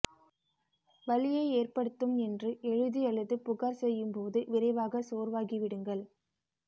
வலியை ஏற்படுத்தும் என்று எழுதி அல்லது புகார் செய்யும் போது விரைவாக சோர்வாகி விடுங்கள்